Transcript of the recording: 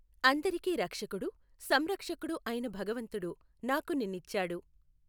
అందరికీ రక్షకుడు, సంరక్షకుడు అయిన భగవంతుడు నాకు నిన్నిచ్చాడు.